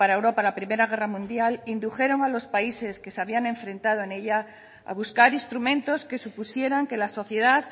europa la primera guerra mundial indujeron a los países que se habían enfrentado en ella a buscar instrumentos que supusieran que la sociedad